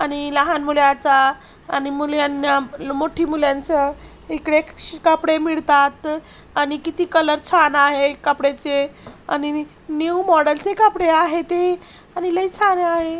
आणि लहान मुल्याचा आणि मुली मोठी मुल्यांच इकडे एक श कापडे मिळतात आणि किती कलर छान आहे कापडेचे आणि न्यू मॉडेल चे कापडे आहे ते आणि लई छान आहे.